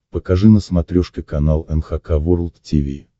покажи на смотрешке канал эн эйч кей волд ти ви